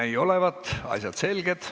Ei näi olevat, asjad on selged.